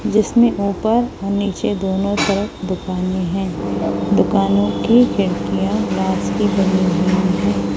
जिसमें ऊपर और नीचे दोनों तरफ दुकानें है दुकानों की खिड़कियां ग्लास की बनी हुई हैं।